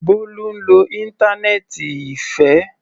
Bólú ń lo íńtánẹ́ẹ́ǹtì Ìfẹ́.